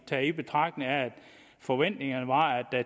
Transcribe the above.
tager i betragtning at forventningen